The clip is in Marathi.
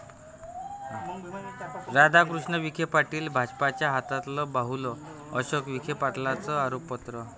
राधाकृष्ण विखे पाटील भाजपच्या हातातलं बाहुलं, अशोक विखे पाटलांचं आरोपास्त्र